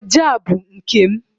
ọjà a bụ nke m